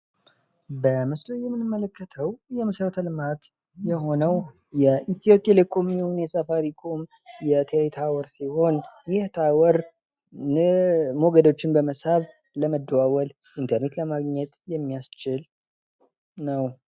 በምስሉ ላይ የምንመለከተው የመሰረተ ልማት ሲሆን የኢትዮቴሌኮም ወይም የሳፋሪኮም ታወር ሲሆን፤ ይህ ታወር ሞገዶችን በመሳብ ለመደዋወል ፣ ኢንተርኔት ለማግኘት የሚያስችል ነው።